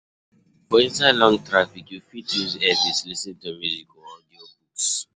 For inside Long traffick you fit use earpiece lis ten to music or audio books